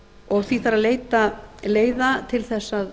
og því þarf að leita leiða til þess að